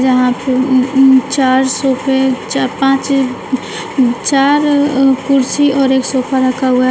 जहां पे उम्म उम्म चार सोफे चार पांच चार अ कुर्सी और एक सोफा रखा हुआ हैं।